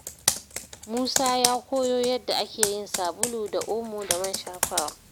Musa ya koyo yadda ake yin sabulu da omo da man shafawa.